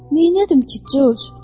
Neynədim ki, Corc?